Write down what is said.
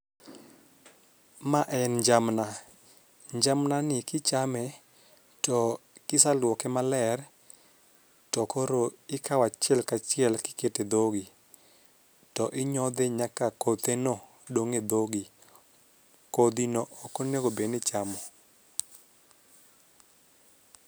Ma en jamna, njamna ni kichame to kisaluoke maler to koro ikawo achiel kachiel kikete dhogi to inyodhe nyaka kothe no dong' e dhogi. Kodhi no ok onego bed ni ichamo.